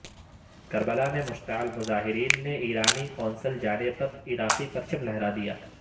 کربلا میں مشتعل مظاہرین نے ایرانی قونصل خانے پر عراقی پرچم لہرا دیا